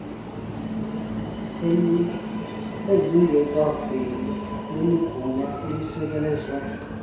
ezingekaveli nelinegunya elisekelezwe